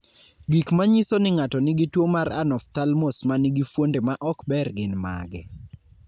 Gik manyiso ni ng'ato nigi tuo mar Anophthalmos ma nigi fuonde ma ok ber gin mage?